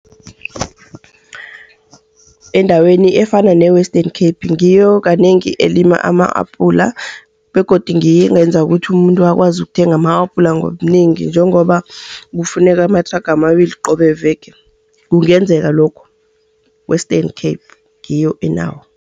Endaweni efana ne-Western Cape, ngiyo kanengi elima ama-apula begodu ngiyo engenza ukuthi umuntu akwazi ukuthenga ma-apula ngobunengi. Njengoba kufuneka amathraga amabili qobe veke, kungenzeka lokhu. Western Cape ngiyo enawo.